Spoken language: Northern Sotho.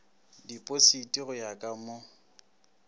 dipositi go ya ka mo